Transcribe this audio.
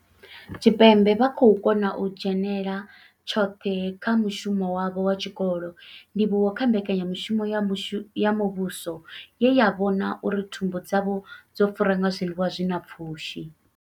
Tshipembe vha khou kona u dzhenela tshoṱhe kha mushumo wavho wa tshikolo, ndivhuwo kha mbekanya mushumo ya muvhuso ye ya vhona uri thumbu dzavho dzo fura nga zwiḽiwa zwi na pfushi.